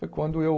Foi quando eu